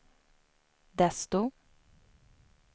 desto